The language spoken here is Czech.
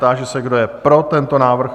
Táži se, kdo je pro tento návrh?